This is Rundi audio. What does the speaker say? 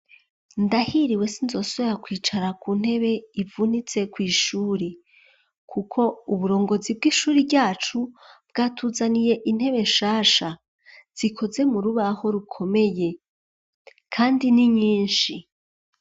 Ndahiriwe sinzosubira kwicara ku ntebe ivunitse ku ishuri kuko uburongozi bw'ishuri ryacu bwatuzaniye intebe shasha zikoze mu rubaho rukomeye kandi n nyinshi.